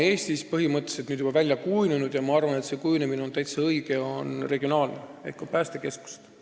Eestis on juba välja kujunenud – ja minu arvates on see väga hea – regionaalne jaotus, on omad päästekeskused.